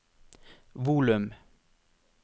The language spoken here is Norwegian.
volum